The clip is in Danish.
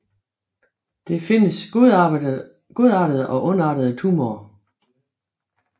Det findes godartede og ondartede tumorer